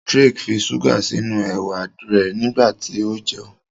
Drake fí ṣuga sínú ewa rẹ nígbàtí o jẹun.